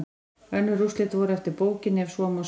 Önnur úrslit voru eftir bókinni ef svo má segja.